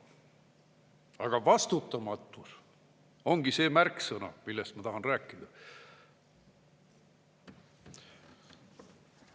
Aga vastutamatus ongi see märksõna, millest ma tahan rääkida.